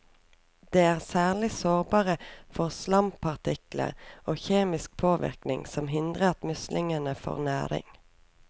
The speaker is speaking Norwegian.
De er særlig sårbare for slampartikler og kjemisk påvirkning, som hindrer at muslingene får næring.